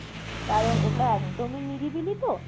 কারণ ওটা একদমই নিরিবিলি তো